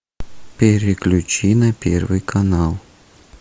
переключи на первый канал